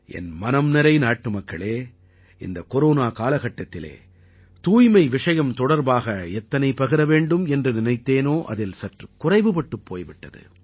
என் மனம் நிறைநாட்டு மக்களே இந்தக் கொரோனா காலகட்டத்திலே தூய்மை விஷயம் தொடர்பாக எத்தனை பகிர வேண்டும் என்று நினைத்தேனோ அதில் சற்று குறைவுபட்டுப் போய்விட்டது